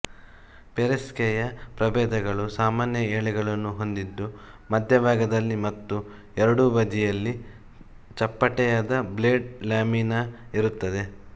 Pereskia ಪ್ರಭೇದಗಳು ಸಾಮಾನ್ಯ ಎಲೆಗಳನ್ನು ಹೊಂದಿದ್ದು ಮಧ್ಯಭಾಗದಲ್ಲಿ ಮತ್ತು ಎರಡೂ ಬದಿಯಲ್ಲಿ ಚಪ್ಪಟೆಯಾದ ಬ್ಲೇಡ್ ಲ್ಯಾಮಿನಾ ಇರುತ್ತದೆ